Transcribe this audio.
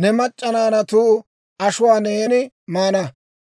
ne mac'c'a naanatu ashuwaa neeni maana.